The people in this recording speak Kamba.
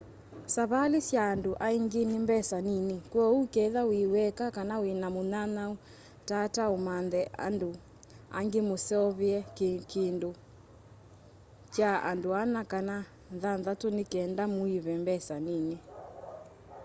savali sya andũ aingi ni mbesa nini kwooũ ketha wi weka kana wina mũnyanyaũ tata ũmanthe andũ angi mũseovye kikũndi kya andũ ana kana thanthatũ ni kenda mũive mbesa nini